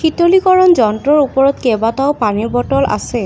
শীতলীকৰণ যন্ত্ৰৰ ওপৰত কেবাটাও পানীৰ বটল আছে।